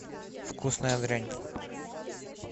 вкусная дрянь